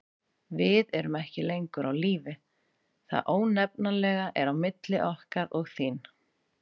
Við erum ekki lengur á lífi: það ónefnanlega er á milli okkar og þín.